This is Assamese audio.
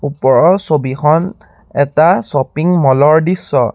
ওপৰৰ ছবিখন এটা শ্বপিং ম'ল ৰ দৃশ্য।